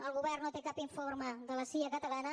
el govern no té cap informe de la cia catalana